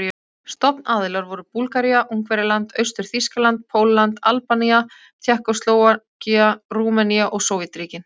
Stofnaðilar voru Búlgaría, Ungverjaland, Austur-Þýskaland, Pólland, Albanía, Tékkóslóvakía, Rúmenía og Sovétríkin.